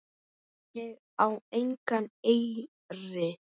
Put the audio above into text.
Ég á engan eyri.